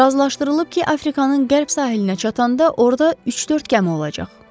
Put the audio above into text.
Razılaşdırılıb ki, Afrikanın qərb sahilinə çatanda orda üç-dörd gəmi olacaq.